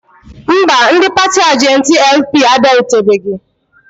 Mba, ndị paatị ajentị LP abịarutebeghị.